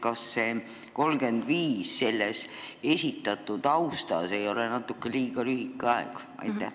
Kas see "kuni aastani 2035" ei ole seda tausta arvestades natuke liiga lühike aeg?